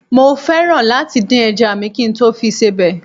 Mo fẹ́ràn láti dín ẹja à mi kí n tó fi sebẹ̀